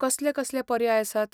कसले कसले पर्याय आसात?